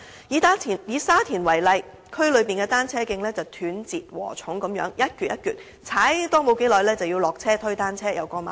以沙田為例，區內單車徑一如"斷截禾蟲"般，踏沒多久便要下車推單車過馬路。